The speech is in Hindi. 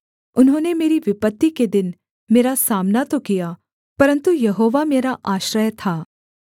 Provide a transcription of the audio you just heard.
उन्होंने मेरी विपत्ति के दिन मेरा सामना तो किया परन्तु यहोवा मेरा आश्रय था